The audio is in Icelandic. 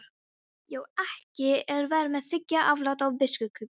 Já, ekki er verra að þiggja aflát af biskupi.